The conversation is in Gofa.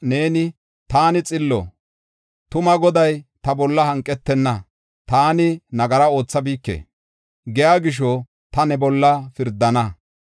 Neeni, “ ‘Taani xillo; tuma Goday ta bolla hanqetenna; taani nagara oothabike’ giya gisho ta ne bolla pirdana.